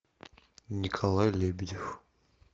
николай лебедев